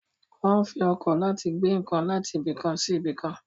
Wọ́n ń fi ọkọ̀ láti gbé nǹkan láti ibìkan sí ibìkan.